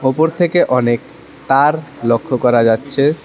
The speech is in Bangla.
ওপর থেকে অনেক তার লক্ষ করা যাচ্ছে।